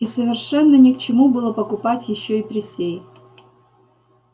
и совершенно ни к чему было покупать ещё и присей